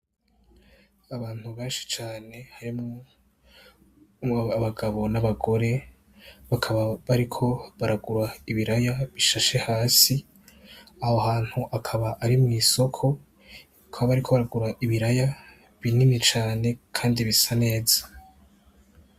Abantu benshi cane harimwo abagabo n'abagore, bakaba bariko baragura ibiraya bishashe hasi. Aho hantu akaba ari mw'isoko. Bakaba bariko baragura ibiraya binini cane kandi bisa neza.